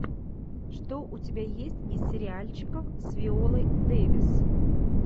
что у тебя есть из сериальчиков с виолой дэвис